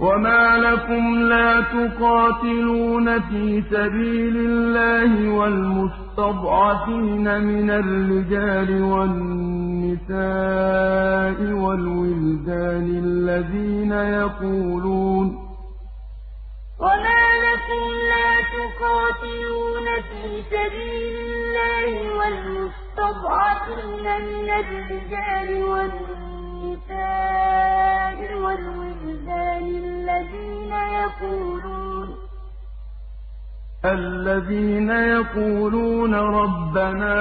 وَمَا لَكُمْ لَا تُقَاتِلُونَ فِي سَبِيلِ اللَّهِ وَالْمُسْتَضْعَفِينَ مِنَ الرِّجَالِ وَالنِّسَاءِ وَالْوِلْدَانِ الَّذِينَ يَقُولُونَ رَبَّنَا